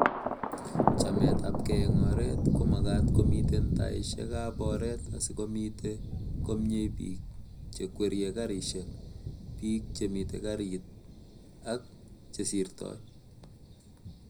chametabgei eng oret komagaat komiten taishekab oret asigomite komnyei biik chekwerie karishek,,biik chemiten karit ak chesirtoi